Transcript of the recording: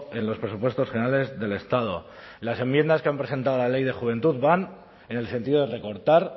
en los presupuestos generales del estado las enmiendas que han presentado a la ley de juventud van en el sentido de recortar